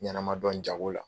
ɲanama dɔn jago la.